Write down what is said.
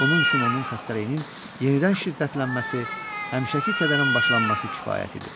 Bunun üçün onun xəstəliyinin yenidən şiddətlənməsi, həmişəki kədərin başlanması kifayət idi.